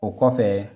O kɔfɛ